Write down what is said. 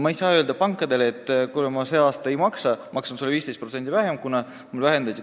Ma ei saa öelda pangale, et kuule, ma see aasta ei maksa sulle või maksan 15% vähem, kuna toetusi vähendati.